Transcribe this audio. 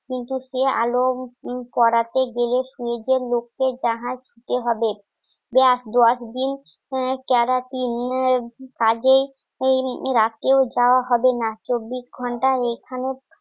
কিন্তু সে আলো করাতে গেলে নিজের লোককে জাহাজ দিতে হবে দশ দিন কাজে দেওয়া হবে না চব্বিশ ঘণ্টা এখানে